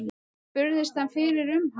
Spurðist hann fyrir um hann.